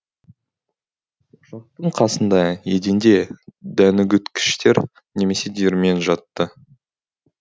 қасында еденде дәнүгіткіштер немесе диірмен жатты